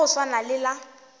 la go swana le la